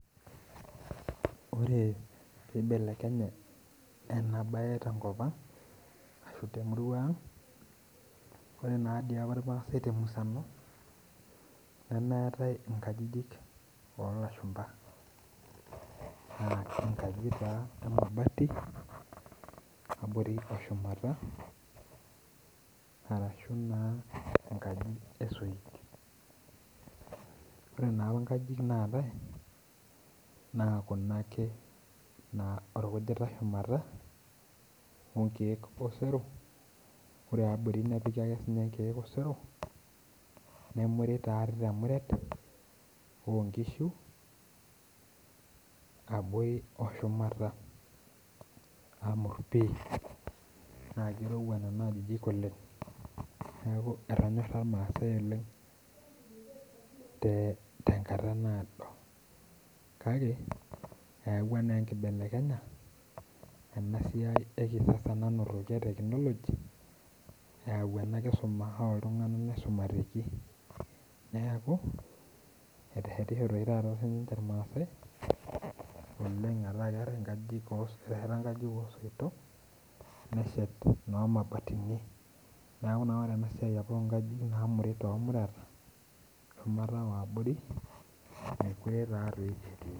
Ore pibelekenye enabae tenkop ang ashu temurua ang, ore nadi apa irmaasai temusano, nemetai inkajijik olashumpa. Enkaji taa emabati, nabore eshumata, arashu naa enkaji esoit. Ore naapa nkajijik naatai, naa kuna ake orkujita shumata onkeek osero, ore abori nepiki ake sinye inkeek osero, nemuri taa temuret onkishu, abori oshumata amur pi. Na kirowua nena ajijik oleng. Neeku etonyorra irmaasai oleng tenkata naado. Kake, eeawua naa enkibelekenya, enasiai ekisasa nanotoki e technology, eyau ena kisuma oltung'anak naisumateki. Neeku, etehetishote oshi taata sinche irmaasai, oleng metaa keeta nkajijik eteheta nkajijik osoitok, neshet no mabatini. Neeku naa ore enasiai apa onkajijik namuri tomureta, shumata wabori, mekure tatoi etii.